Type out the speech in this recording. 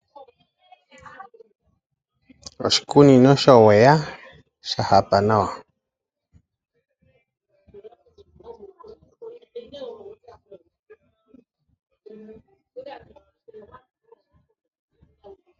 Oshikunino showowa sha hapa nawa.